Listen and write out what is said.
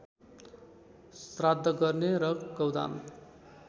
श्राद्ध गर्ने र गौदान